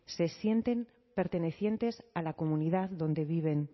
se sienten pertenecientes a la comunidad donde viven